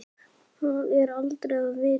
Það er aldrei að vita?